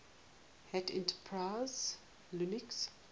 hat enterprise linux